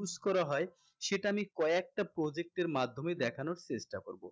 use করা হয় সেটা আমি কয়েকটা project এর মাধ্যমে দেখানোর চেষ্টা করবো